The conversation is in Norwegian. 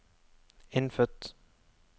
innfødt